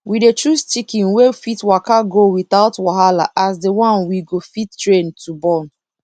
we dey choose chicken wey fit waka go without wahala as di one we go fit train to born